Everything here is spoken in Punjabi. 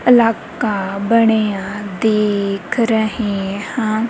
ਇਲਾਕਾ ਬਣਿਆ ਦੇਖ ਰਹੇਂ ਹਾਂ।